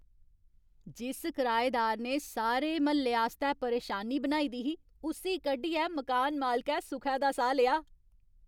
जिस कराएदार ने सारे म्हल्ले आस्तै परेशानी बनाई दी ही, उस्सी कड्ढियै मकान मालकै सुखै दा साह् लेआ ।